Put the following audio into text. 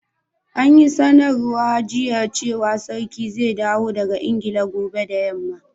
An yi sanarwa jiya cewa sarkin zai dawo daga Ingila gobe da yamma.